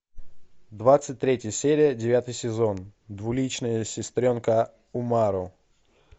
двадцать третья серия девятый сезон двуличная сестренка умару